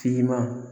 Fiman